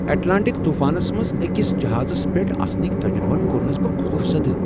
Atlantic طوفانس منٛز أکس جہازس پیٹھ آسنٕکۍ تجربن کوٚرنس بہٕ خوفزدہ۔